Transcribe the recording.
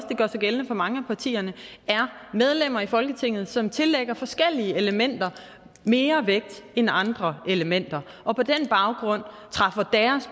gør sig gældende for mange af partierne er medlemmer i folketinget som tillægger forskellige elementer mere vægt end andre elementer og på den baggrund træffer